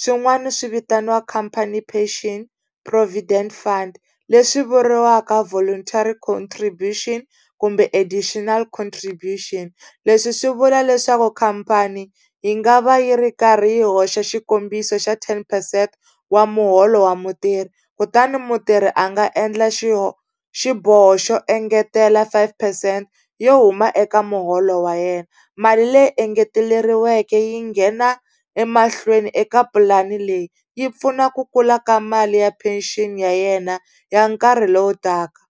swin'wana swi vitaniwa company pension provident fund leswi vuriwaka voluntary contribution kumbe additional contribution. Leswi swi vula leswaku khampani yi nga va yi ri karhi yi hoxa xikombiso xa ten percent wa muholo wa mutirhi, kutani mutirhi a nga endla xiboho xo engetela five percent yo huma eka muholo wa yena. Mali leyi engeteleriweke yi nghena emahlweni eka pulani leyi yi pfuna ku kula ka mali ya pension ya yena ya nkarhi lowu taka.